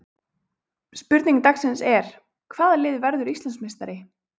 Spurning dagsins er: Hvaða lið verður Íslandsmeistari?